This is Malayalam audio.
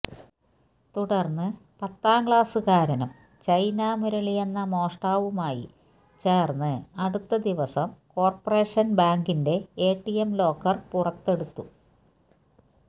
തുടർന്ന് പത്താം ക്ലാസുകാരനും ചൈന മുരളിയെന്ന മോഷ്ടാവുമായി ചേർന്ന് അടുത്ത ദിവസം കോർപ്പറേഷൻ ബാങ്കിന്റെ എടിഎം ലോക്കർ പറത്തെടുത്തു